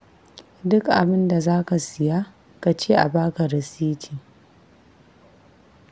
Duk abin da za ka siya ka ce a ba ka rasiti.